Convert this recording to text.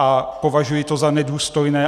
A považuji to za nedůstojné.